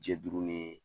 Jɛ duuru ni